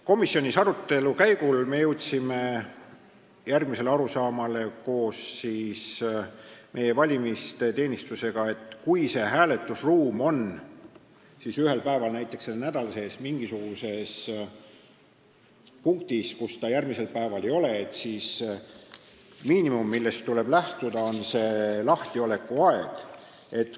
Komisjonis me jõudsime arutelu käigus koos valimisteenistusega arusaamale, et kui hääletusruum on ühel päeval näiteks selle nädala sees mingisuguses punktis, kus ta järgmisel päeval enam ei ole, siis miinimum, millest tuleb lähtuda, on lahtioleku aeg.